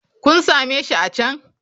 Kun same shi a can.